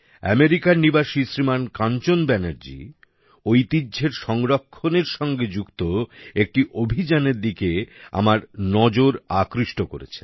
আমেরিকার নিবাসী শ্রীমান কাঞ্চন ব্যানার্জি ঐতিহ্যের সংরক্ষণের কাজের যুক্ত একটি অভিযানের দিকে আমার নজর আকৃষ্ট করেছেন